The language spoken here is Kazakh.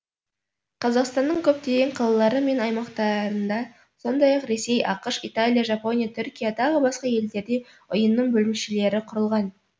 қазақстанның көптеген қалалары мен аймақтарында сондай ақ ресей ақш италия жапония түркия тағы басқа елдерде ұйымның бөлімшелері құрылған